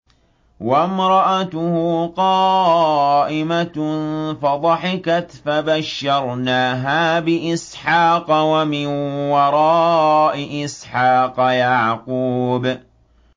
وَامْرَأَتُهُ قَائِمَةٌ فَضَحِكَتْ فَبَشَّرْنَاهَا بِإِسْحَاقَ وَمِن وَرَاءِ إِسْحَاقَ يَعْقُوبَ